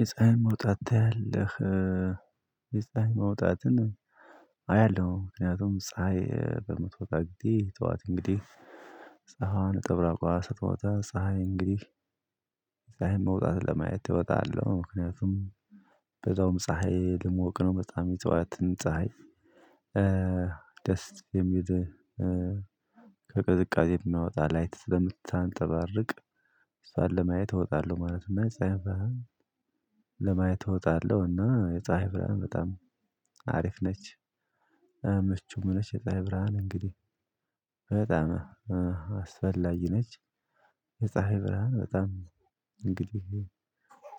የፀሀይ መውጣት ታያለህ? የፀሀይ መውጣትን አያለሁ። ምክንያቱም ፀሀይ በመትወጣት ጊዜ ጠዋት እንግዲህ። ፀሀይ ነጠብራቋ ስትወጣ ፀሀይ እንግዲህ። ፀሀይን መውጣት ለማየት እወጣለሁ። ምክንያቱም በዛውም ፀሀይ ልሞቅ ነው። በጣም የጠዋትን ፀሀይ። ደስ የሚል ከቅዝቃዜ የሚያወጣ ላይት ስለምታንጠባርቅ እሷን ለማየት እወጣለሁ ማለት ነው። እና ለማየት እወጣለሁ እና የፀሀይ ብርሃን በጣም አሪፍ ነች ምቹም ነች። የፀሀይ ብርሃን እንግዲህ በጣም አስፈላጊ ነች። የፀሀይ ብርሃን በጣም እንግዲህ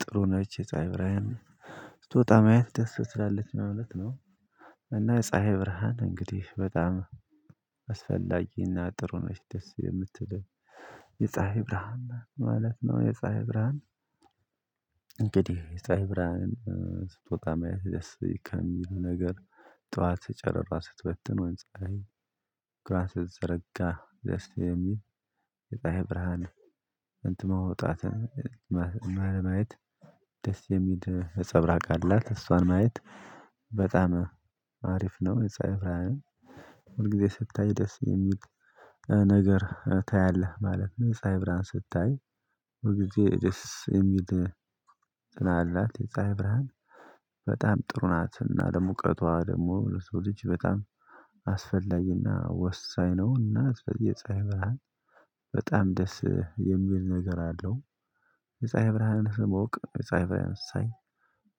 ጥሩ ነች ፀሀይ ብርሃን ስትወጣ ማየት ደስ ትላለች ማለት ነው። እና የፀሀይ ብርሃን እንግዲህ በጣም አስፈላጊና ጥሩ ነች። ደስ የምትል የፀሀይ ብርሃን ማለት ነው። የፀሀይ ብርሃን እንግዲህ የጽሃይ ብርሃን ስትወጣ መያዝ ደስ ከሚሉ ነገር። ጠዋት ጨረቃዋ ስትወጥትን ወይም ፀሀይ። እግሯን ስትዘረጋ ደስ የሚል የጣይ ብርሃን እንትኗ መውጣትን ማየት ደስ የሚል ነፀብራቅ አላት። እሷን ማየት በጣም አሪፍ ነው። የፀሀይ ብርሃንን ሁል ጊዜ ስታይ ደስ የሚል ነገር ታያለህ ማለት ነው። የፀሀይ ብርሃን ስታይ ሁል ጊዜ ደስ የሚል ጽናላት አላት። የፀሀይ ብርሃን በጣም ጥሩ ናትና ደግሞ ሞቀቷ ደግሞ ለሰው ልጅ በጣም አስፈላጊና ወሳኝ ነውና። ስለዚህ የጻይ ብርሃን በጣም ደስ የሚል ነገር አለው። የፀሀይ ብርሃንን ስሞቅ የፀሀይ ብርሃን ሳይ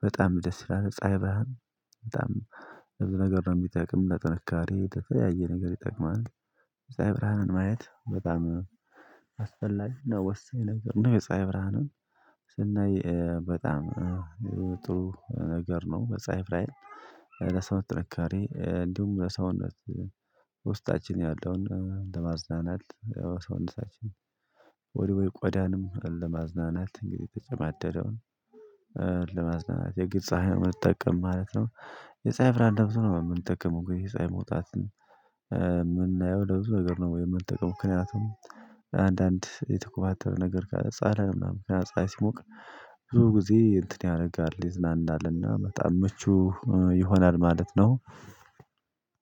በጣም ደስ ይላል። የፀሀይ ብርሃን በጣም ብዙ ነገር ነው የሚጠቅም ለጥንካሬ የተለያየ ነገር ይጠቅማል። የፀሀይ ብርሃንን ማየት በጣም አስፈላጊና ወስኝ ነገር ነው። የፀሀይ ብርሃንን ስናይ በጣም ጥሩ ነገር ነው። በጻይፍ ላይም ለሰው ጥንካሬ እንዲሁም ለሰውነት ውስጣችን ያለውን ለማዝናናት ሰውነታችን ወደ ወይ ቆዳንም ለማዝናናት እንግዲህ የተጨማደደውን ለማዝናናት የግድ ፀሀይን መጠቀም ማለት ነው። የፀሀይ ብርሃን ለብዙ ነው የምንጠቀመው የፀሀይ መውጣት የምናየው ለብዙ ነገር ነው የምንጠቀመው። ምክንያቱም አንዳንድ የተኮማተረ ነገር ጋር ጸራይ ነው። ምክኒያቱም ፀሀይ ሲሞቅ ብዙ ጊዜ እንትን ያደርጋል ይዝናናልና በጣም ምቹ ይሆናል ማለት ነው።